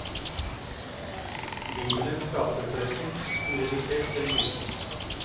Bibelens skapelsesberetning blir redusert til en myte.